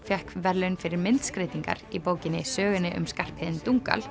fékk verðlaun fyrir myndskreytingar í bókinni sögunni um Skarphéðin